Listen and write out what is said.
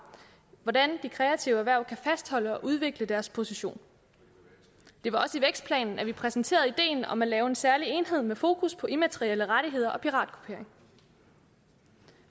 hvordan de kreative erhverv kan fastholde og udvikle deres position det var også i vækstplanen at vi præsenterede ideen om at lave en særlig enhed med fokus på immaterielle rettigheder og piratkopiering